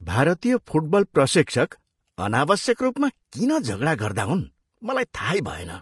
भारतीय फुटबल प्रशिक्षक अनावश्यक रूपमा किन झगडा गर्दा हुन् मलाई थाहै भएन।